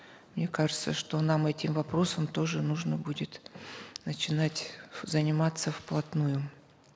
мне кажется что нам этим вопросом тоже нужно будет начинать заниматься вплотную